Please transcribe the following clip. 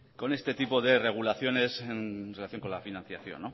con este tipo de regulaciones en relación con la financiación